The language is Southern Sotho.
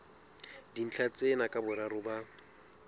dintlha tsena ka boraro ba